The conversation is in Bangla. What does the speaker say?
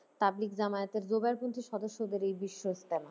তাবলীগ জামায়াতের জোগাড় কিন্তু সদস্যদের এই বিশ্বইস্তেমা।